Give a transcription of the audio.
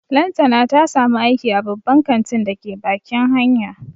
Lantana ta samu aiki a babban kantin da ke bakin hanya